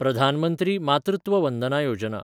प्रधान मंत्री मातृत्व वंदना योजना